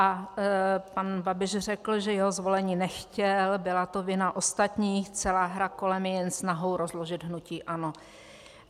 A pan Babiš řekl, že jeho zvolení nechtěl, byla to vina ostatních, celá hra kolem je jen snahou rozložit hnutí ANO.